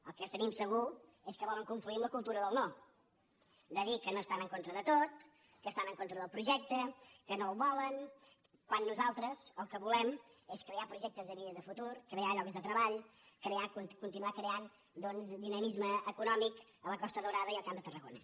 el que tenim segur és que volen confluir en la cultura del no de dir que no que estan en contra de tot que estan en contra del projecte que no el volen quan nosaltres el que no volem és crear projectes de vida i de futur cre·ar llocs de treball crear continuar creant doncs di·namisme econòmic a la costa daurada i al camp de tarragona